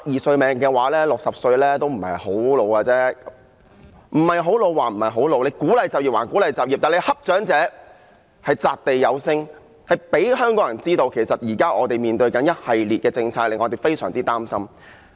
即使60歲不是太年老，即使當局鼓勵就業，但當局欺負長者的情況擲地有聲，令香港人知道我們現時要面對一系列政策，這令我們非常擔心。